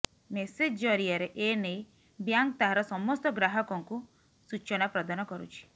message ଜରିଆରେ ଏନେଇ bank ତାହାର ସମସ୍ତ ଗ୍ରାହକଙ୍କୁ ସୂଚନା ପ୍ରଦାନ କରୁଛି